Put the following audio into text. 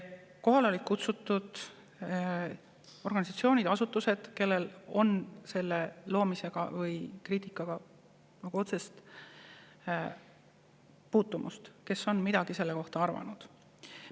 Kohale olid kutsutud organisatsioonid ja asutused, kellel on selle seaduse loomisega või kriitikaga otsene puutumus ja kes on midagi selle kohta arvanud.